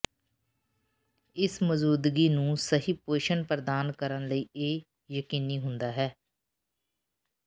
ਇਸ ਮੌਜੂਦਗੀ ਨੂੰ ਸਹੀ ਪੋਸ਼ਣ ਪ੍ਰਦਾਨ ਕਰਨ ਲਈ ਇਹ ਯਕੀਨੀ ਹੁੰਦਾ ਹੈ